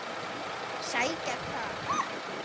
Sækja hvað?